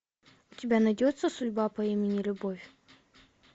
у тебя найдется судьба по имени любовь